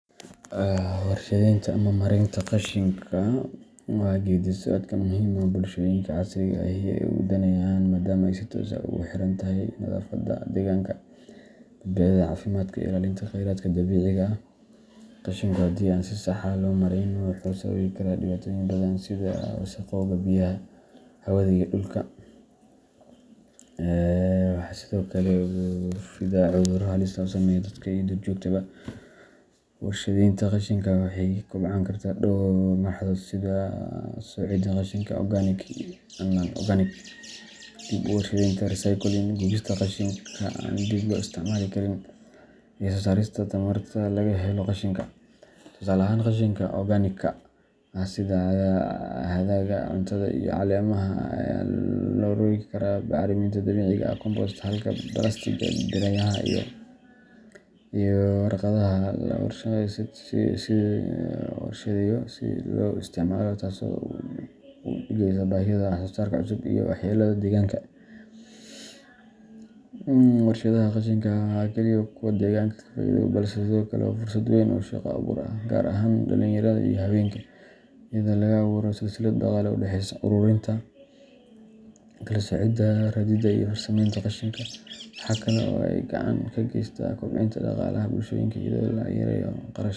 Warshadaynta ama maaraynta qashinka waa geeddi-socod muhiim ah oo ay bulshooyinka casriga ahi aad u daneynayaan, maadaama ay si toos ah ugu xirantahay nadaafadda deegaanka, badbaadada caafimaadka, iyo ilaalinta kheyraadka dabiiciga ah. Qashinku haddii aan si sax ah loo maarayn wuxuu sababi karaa dhibaatooyin badan sida wasakhowga biyaha, hawada, iyo dhulka, waxaana sidoo kale ku fidaa cudurro halis ah oo saameeya dadka iyo duurjoogtaba. Warshadaynta qashinka waxay ka koobnaan kartaa dhowr marxaladood sida kala-soocidda qashinka organic and non-organic, dib-u-warshadaynta recycling, gubista qashinka aan dib loo isticmaali karin, iyo soo saarista tamarta laga helo qashinka. Tusaale ahaan, qashinka organic-ka ah sida hadhaaga cuntada iyo caleemaha ayaa loo rogi karaa bacriminta dabiiciga ah compost, halka balaastigga, biraha, iyo warqadaha la warshadeeyo si dib loogu isticmaalo, taasoo hoos u dhigaysa baahida wax-soo-saar cusub iyo waxyeellada deegaanka. Warshadaha qashinka ma aha oo keliya kuwo deegaanku ka faa’iido, balse sidoo kale waa fursad weyn oo shaqo abuur ah, gaar ahaan dhalinyarada iyo haweenka, iyadoo laga abuuro silsilad dhaqaale oo u dhexeysa ururinta, kala-soocidda, raridda, iyo farsameynta qashinka. Waxa kale oo ay gacan ka geysataa kobcinta dhaqaalaha bulshooyinka iyadoo laga yareeyo kharashaadka.